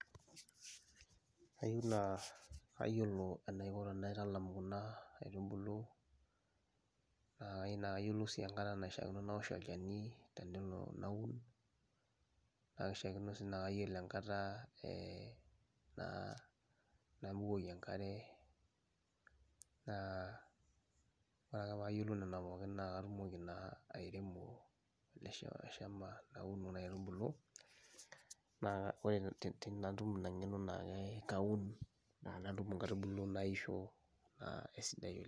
Ayiu naa ayiolo enaiko tenaitalam kuna aitubulu naa ayiu naa ayiolou sii enkata naishaakino nawosh olchani tenelo naun, naa kishaakino sii naa kayiolo enkata ee naa nabukoki enkare. Naa ore ake paayiolou nena pookin naa katumoki naa airemo ele shamb ele shamba naun kuna aitubulu naa ore te tenatum ina ng'eno naake kaun naa nadumu nkaitubulu naisho naa esidai.